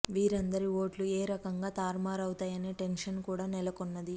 వీరందరి ఓట్లు ఏ రకంగా తారుమారు అవుతాయనే టెన్షన్ కూడా నెలకొంది